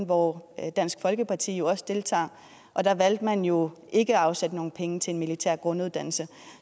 hvor dansk folkeparti jo også deltager og der valgte man jo ikke at afsætte nogle penge til en militær grunduddannelse